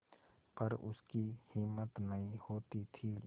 पर उसकी हिम्मत नहीं होती थी